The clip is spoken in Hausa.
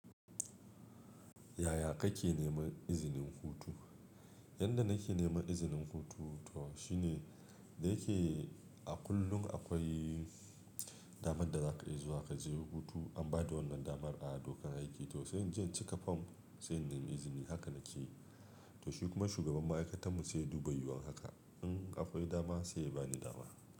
Yaya kake neman izinin hutu? Yanda nake neman izinin hutu to shine da yake a kullum akwai damar da zaka iya zuwa kaje hutu an bada wannan damar a dokar aiki. To sai jin cike form sai in nemi izini haka nakeyi. To shi kuma shugaban ma'aikata mu sai ya dubi yiwuwan haka. In akwai dama sai ya bani dama.